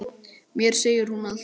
Mér segir hún allt